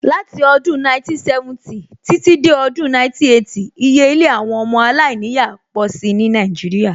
Láti odún 1970 títí dé Odùn 1980, iye ilé àwọn ọmọ alainiya pọ̀ si ní Nàìjíríà